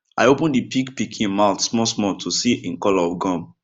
i open the pig pikin mouth small small to see en color of gum